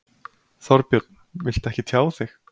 Þorbjörn: Viltu ekki tjá þig?